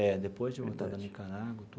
É, depois de voltar da Nicarágua e tudo.